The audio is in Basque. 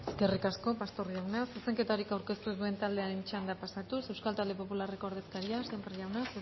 eskerrik asko pastor jauna zuzenketarik aurkeztu ez duen taldearen txandara pasatuz euskal talde popularreko ordezkaria sémper jauna